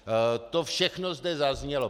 To všechno zde zaznělo.